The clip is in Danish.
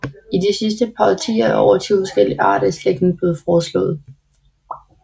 I de sidste par årtier er over 20 forskellige arter i slægten blevet foreslået